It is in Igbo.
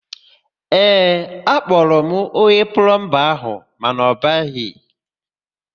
Ee, akpọrọ m onye plọmba áhụ̀ mana ọ bịaghị.